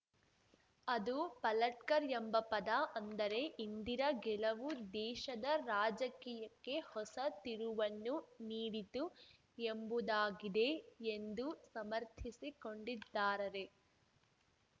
ಅದು ಪಲಟ್ಕರ್‌ ಎಂಬ ಪದ ಅಂದರೆ ಇಂದಿರಾ ಗೆಲುವು ದೇಶದ ರಾಜಕೀಯಕ್ಕೆ ಹೊಸ ತಿರುವನ್ನು ನೀಡಿತು ಎಂಬುದಾಗಿದೆ ಎಂದು ಸಮರ್ಥಿಸಿಕೊಂಡಿದ್ದಾರರೆ